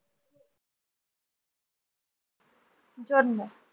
জন্ম